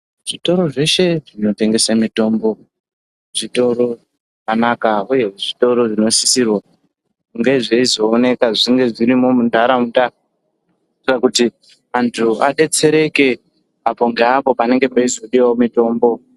Zvitoro zveshe zvinotengesa mitombozvitoro zvakanaka uye zvitoro zvinosisirwa kunge zveizooneka zvirimo munharaunda antu adetsereke apo ngeapo panenge peizodiwawo mitombo